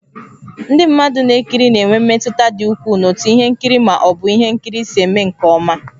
Ndị mmadụ na-ekiri na-enwe mmetụta dị ukwuu n'otú ihe nkiri ma ọ bụ ihe nkiri si eme nke ọma.